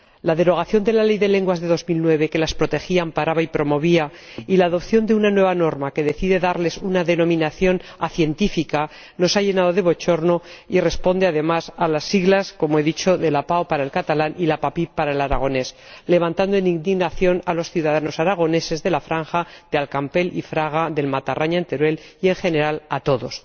La derogación de la Ley de lenguas de 2009, que las protegía, amparaba y promovía, y la adopción de una nueva norma que decide darles una denominación acientífica nos ha llenado de bochorno y responde, además, a las siglas, como he dicho, de la PAO para el catalán y la PAPIP para el aragonés, desatando la indignación de los ciudadanos aragoneses de la franja de Alcampell y Fraga, del Matarraña en Teruel y, en general, a todos.